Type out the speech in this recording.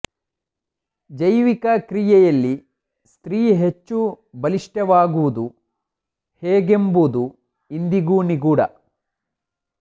ಜೈವಿಕ ಕ್ರಿಯೆಯಲ್ಲಿ ಸ್ತ್ರೀ ಹೆಚ್ಚು ಬಲಿಷ್ಠವಾಗುವುದು ಹೇಗೆಂಬುದು ಇಂದಿಗೂ ನಿಗೂಢ